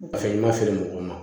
Paseke i ma feere mɔgɔw ma